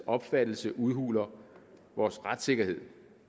opfattelse udhuler vores retssikkerhed